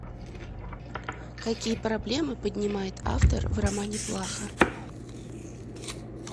какие проблемы поднимает автор в романе плаха